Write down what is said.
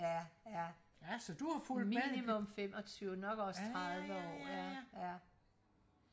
ja ja minimum femogtyve nok også tredive år ja ja